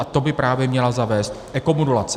A to by právě měla zavést ekomodulace.